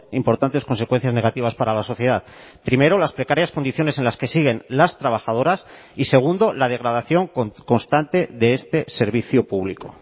importantes consecuencias negativas para la sociedad primero las precarias condiciones en las que siguen las trabajadoras y segundo la degradación constante de este servicio público